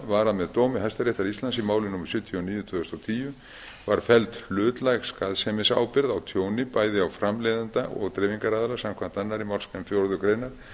var að með dómi hæstaréttar íslands í máli númer sjötíu og níu tvö þúsund og tíu var felld hlutlæg skaðsemisábyrgð á tjóni bæði á framleiðanda og dreifingaraðila samkvæmt annarri málsgrein fjórðu greinar